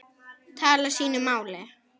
tala sínu máli.